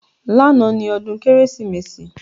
Lánàá ni ọdún Kérésìmesì